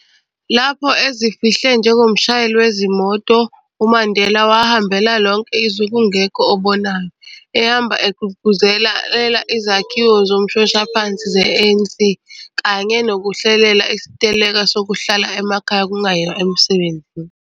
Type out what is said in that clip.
Lopho ezifihle njengomshayeli wezimoto, uMandela wahambela lonke izwe kungekho obonayo, ehamba egqugquzelela izakhiwo zomshoshaphansi ze-ANC, kanye nokuhlelela isiteleka sokuhlala emakhaya kungayiwa emsebenzini.